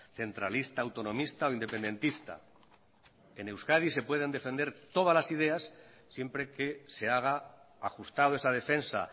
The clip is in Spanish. centralista autonomista o independentista en euskadi se pueden defender todas las ideas siempre que se haga ajustado esa defensa